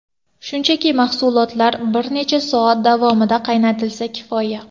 Shunchaki mahsulotlar bir necha soat davomida qaynatilsa, kifoya.